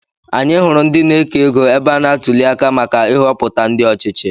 Anyị hụrụ ndị na-eke égo ebe a na-atuli aka maka Ihopụta ndị ọchịchị.